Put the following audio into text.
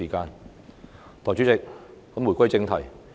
代理主席，言歸正題。